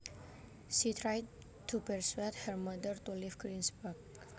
She tried to persuade her mother to leave Greensburg